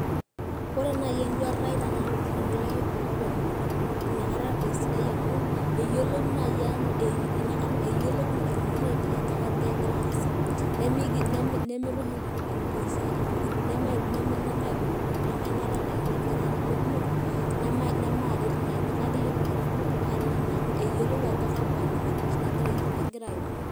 ore naaji eduata ai tenaa orkereti loo damunot, naa ina kata esidai amu iyau, amu etiolo ina kata damunot aainei ajo kainyoo egira aasa, nemeitushul isiatin, intokitin, nemaitushulushul, amu enaata ildakitarini, kumok. nemamaret naaa ina. kake ore olkitari obo eyiolou ajo kakua nyamalitin agira aimaa.